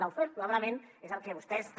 lawfare probablement és el que vostès també